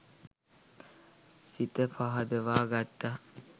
සිත පහදවා ගත්තා.